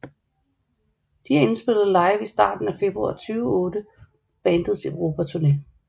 De er indspillet live i starten af februar 2008 på bandets Europaturné